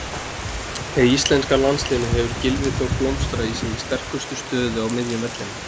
Með íslenska landsliðinu hefur Gylfi Þór blómstrað í sinni sterkustu stöðu á miðjum vellinum.